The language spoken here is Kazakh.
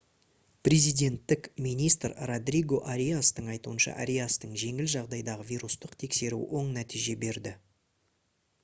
президенттік министр родриго ариастың айтуынша ариастың жеңіл жағдайдағы вирустық тексеруі оң нәтиже берді